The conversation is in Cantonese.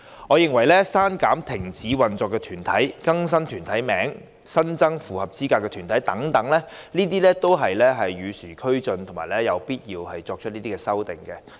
我認為刪除停止運作團體、更新團體名稱、新增符合資格的團體等，都是與時俱進及有必要的修訂。